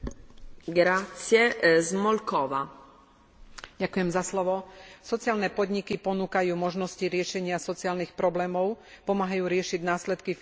Sociálne podniky ponúkajú možnosti riešenia sociálnych problémov, pomáhajú riešiť následky finančnej krízy a cenným spôsobom prispievajú aj k plneniu cieľov Stratégie